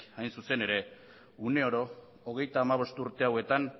hain zuzen ere une oro hogeita hamabost urte hauetan